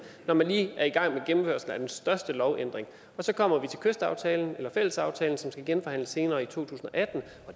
når man lige er i gang med gennemførelsen af den største lovændring så kommer vi til kystaftalen eller fællesaftalen som skal genforhandles senere i to tusind og atten